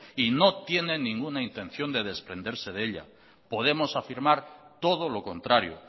y no tiene ninguna intención de desprenderse de ella podemos afirmar todo lo contrario